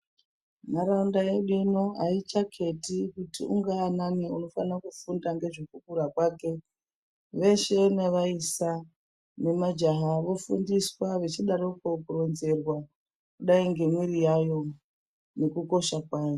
Ndaraunda yedu inei aichaketi kuti ungaa anani unofana kufunda ngezvekukura kwake . Veshe nevaisa nemajaha vofundiswa vachidaroko kukurudzirwa kudai ngemwiri yavo nekukosha kwayo .